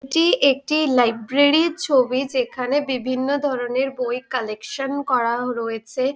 এটি একটি লাইব্রেরির ছবি যেখানে বিভিন্ন ধরণের বই কালেকশন করা রয়েছে।